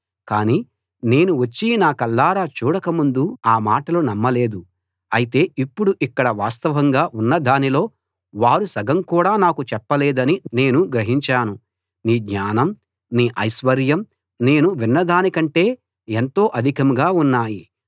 కానీ నేను వచ్చి నా కళ్ళారా చూడకముందు ఆ మాటలు నమ్మలేదు అయితే ఇప్పుడు ఇక్కడ వాస్తవంగా ఉన్నదానిలో వారు సగం కూడా నాకు చెప్పలేదని నేను గ్రహించాను నీ జ్ఞానం నీ ఐశ్వర్యం నేను విన్నదానికంటే ఎంతో అధికంగా ఉన్నాయి